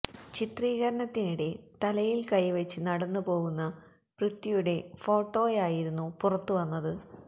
ചിത്രീകരണത്തിനിടെ തലയില് കൈവെച്ച് നടന്ന് പോവുന്ന പൃഥ്വിയുടെ ഫോട്ടോയായിരുന്നു പുറത്ത് വന്നത്